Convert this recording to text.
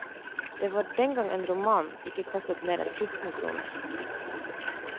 Det var dengang en roman ikke kostet mer enn fjorten kroner.